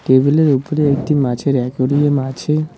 টেবিলের উপরে একটি মাছের অ্যাকুরিয়াম আছে।